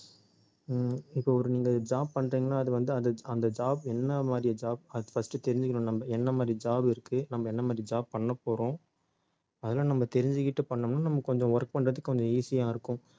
உம் இப்ப ஒரு நீங்க job பண்றீங்கன்னா அது வந்து அந்த job என்ன மாதிரி job அது first தெரிஞ்சுக்கணும் நம்ம என்ன மாதிரி job இருக்கு நம்ம என்ன மாதிரி job பண்ண போறோம் அதெல்லாம் நம்ம தெரிஞ்சுக்கிட்டு பண்ணோம்னா நம்ம கொஞ்சம் work பண்றதுக்கு கொஞ்சம் easy ஆ இருக்கும்